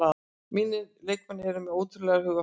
Mínir leikmenn eru með ótrúlegt hugarfar